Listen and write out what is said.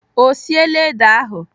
Ọ siela ede ahụ?